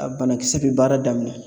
A banakisɛ bɛ baara daminɛ